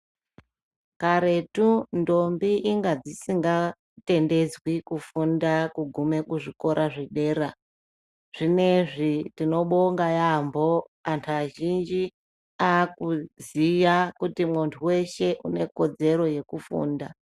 Karetu ntombi inga dzisingatendedzwi kufunda kuguma kuzvikora zvedera zvinezvi tinobonga yaambo antu azhinji akuziya kuti muntu weshe unekodzero yekufunda.